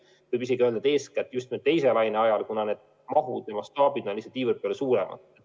Võib isegi öelda, et eeskätt just nüüd, teise laine ajal, kuna need mahud ja mastaabid on lihtsalt nii palju suuremad.